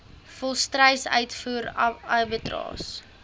volstruis uitvoer abattoirs